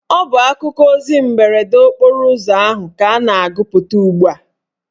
Ọ bụ akụkọ ozi mberede okporo ụzọ ahụ ka a na-agụpụta ugbua